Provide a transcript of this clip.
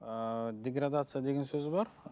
ыыы деградация деген сөз бар